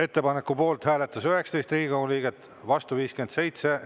Ettepaneku poolt hääletas 19 Riigikogu liiget, vastu 57.